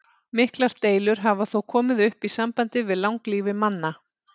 Miklar deilur hafa þó komið upp í sambandi við langlífi manna.